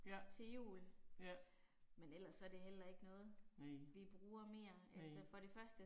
Ja, ja. Næ. Næ